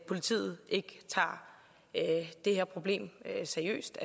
politiet ikke tager det her problem seriøst